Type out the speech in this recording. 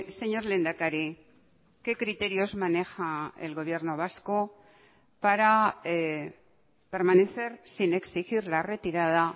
señor lehendakari qué criterios maneja el gobierno vasco para permanecer sin exigir la retirada